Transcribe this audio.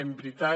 en veritat